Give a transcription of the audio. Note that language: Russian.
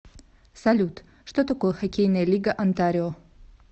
салют что такое хоккейная лига онтарио